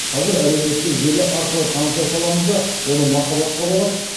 қазір әлеуметтік желі арқылы таныса саламыз да оны махаббатқа балап